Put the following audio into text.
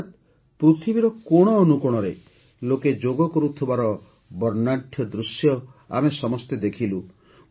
ଅର୍ଥାତ ପୃଥିବୀର କୋଣ ଅନୁକୋଣରେ ଲୋକେ ଯୋଗ କରୁଥିବାର ବର୍ଣ୍ଣାଢ଼୍ୟ ଦୃଶ୍ୟ ଆମେ ସମସ୍ତେ ଦେଖିଲୁ